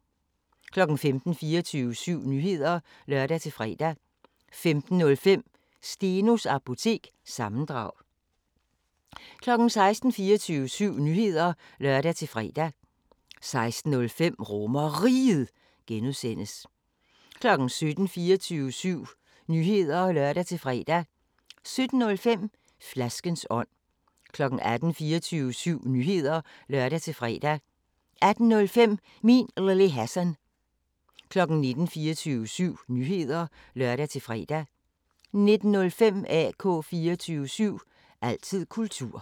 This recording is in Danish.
15:00: 24syv Nyheder (lør-fre) 15:05: Stenos Apotek – sammendrag 16:00: 24syv Nyheder (lør-fre) 16:05: RomerRiget (G) 17:00: 24syv Nyheder (lør-fre) 17:05: Flaskens ånd 18:00: 24syv Nyheder (lør-fre) 18:05: Min Lille Hassan 19:00: 24syv Nyheder (lør-fre) 19:05: AK 24syv – altid kultur